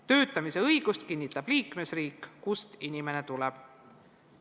Töötamise õigust kinnitab liikmesriik, kust inimene tuleb.